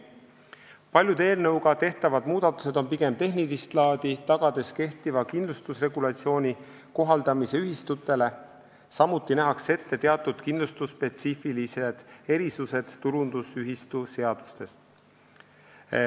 Paljud eelnõuga tehtavad muudatused on pigem tehnilist laadi, tagades kehtiva kindlustusregulatsiooni kohaldamise ühistutele, samuti nähakse ette teatud kindlustusspetsiifilised erisused võrreldes tulundusühistuseadusega.